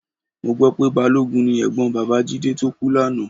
Mo gbọ́ pé balógun ni ẹ̀gbọ́n bàbá Jídé tó kú lánàá